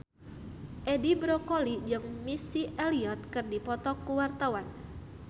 Edi Brokoli jeung Missy Elliott keur dipoto ku wartawan